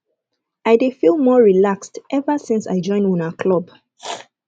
i dey feel more relaxed ever since i join una club